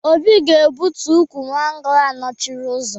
Obi ga-egbutu ukwu mango ahụ nọchiri ụzọ